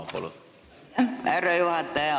Aitäh, härra juhataja!